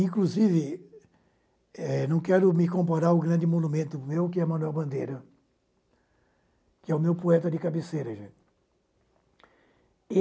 Inclusive, eh não quero me comparar ao grande monumento meu, que é o Manuel Bandeira, que é o meu poeta de cabeceira, gente.